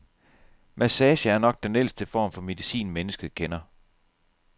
Massage er nok den ældste form for medicin, mennesket kender.